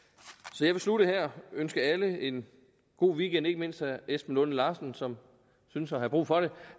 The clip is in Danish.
så jeg vil slutte her og ønske alle en god weekend ikke mindst herre esben lunde larsen som synes at have brug for det